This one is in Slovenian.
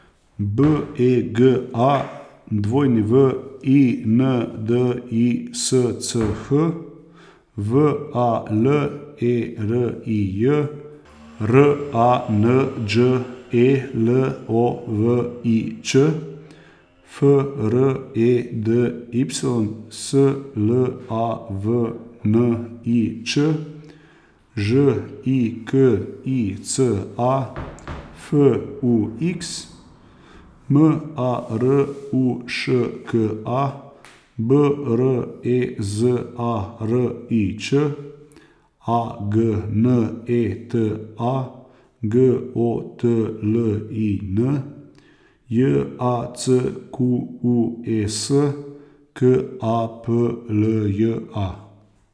B E G A, W I N D I S C H; V A L E R I J, R A N Đ E L O V I Ć; F R E D Y, S L A V N I Ć; Ž I K I C A, F U X; M A R U Š K A, B R E Z A R I Č; A G N E T A, G O T L I N; J A C Q U E S, K A P L J A.